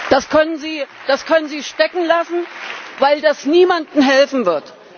Das können Sie stecken lassen, weil das niemandem helfen wird.